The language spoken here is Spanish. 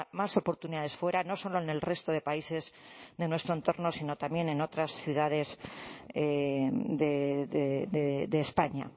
más oportunidades fuera no solo en el resto de países de nuestro entorno sino también en otras ciudades de españa